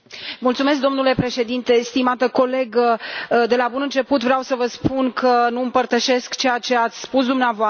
Domnule președinte, stimată colegă, de la bun început vreau să vă spun că nu împărtășesc ceea ce ați spus dumneavoastră.